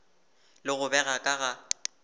le go bega ka ga